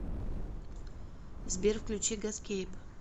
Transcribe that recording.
сбер включи гаскейп